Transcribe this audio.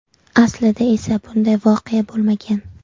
Aslida esa bunday voqea bo‘lmagan.